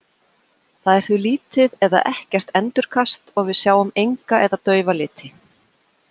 Þar er því lítið eða ekkert endurkast og við sjáum enga eða daufa liti.